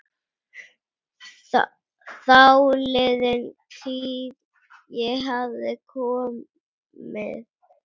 Þáliðin tíð- ég hafði komið